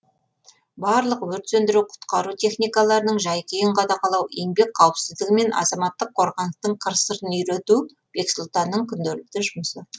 барлық өрт сөндіру құтқару техникаларының жай күйін қадағалау еңбек қауіпсіздігі мен азаматтық қорғаныстың қыр сырын үйрету бексұлтанның күнделікті жұмысы